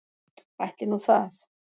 Ætli nú það.